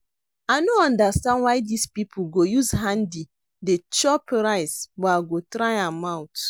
I no understand why dis people go use hand dey chop rice but I go try am out